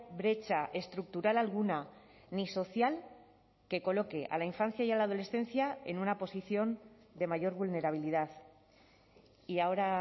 brecha estructural alguna ni social que coloque a la infancia y a la adolescencia en una posición de mayor vulnerabilidad y ahora